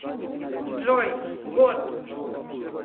джой год